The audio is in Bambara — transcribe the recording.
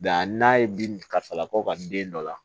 a n'a ye bin kasalakaw ka den dɔ la